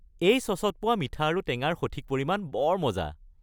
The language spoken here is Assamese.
এই চচত পোৱা মিঠা আৰু টেঙাৰ সঠিক পৰিমাণ বৰ মজা।